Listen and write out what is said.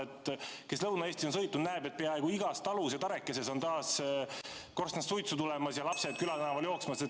Need, kes Lõuna-Eestis on ringi sõitnud, on näinud, et peaaegu igas talus, tarekeses, on taas korstnast suitsu tulemas ja lapsed külatänaval jooksmas.